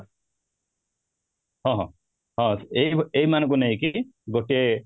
ହଁ, ହଁ ହଁ ଏଇ ଏଇମାନଙ୍କୁ ନେଇକି ଗୋଟେ